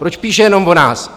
Proč píše jenom o nás?